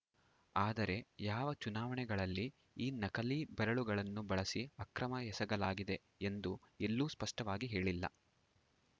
ಆದರೆ ಯಾವ ಚುನಾವಣೆಗಳಲ್ಲಿ ಈ ನಕಲಿ ಬೆರಳುಗಳನ್ನು ಬಳಸಿ ಅಕ್ರಮ ಎಸಗಲಾಗಿದೆ ಎಂದು ಎಲ್ಲೂ ಸ್ಪಷ್ಟವಾಗಿ ಹೇಳಿಲ್ಲ